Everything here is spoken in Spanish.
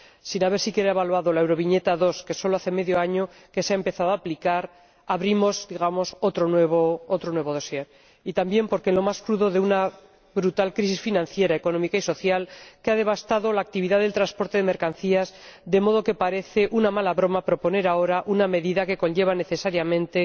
Sin haber siquiera evaluado la Euroviñeta II que sólo hace medio año que se ha empezado a aplicar abrimos, digamos, un nuevo expediente. Y también, porque en lo más crudo de una brutal crisis financiera económica y social, que ha devastado la actividad del transporte de mercancías, parece una mala broma proponer ahora una medida que conlleva necesariamente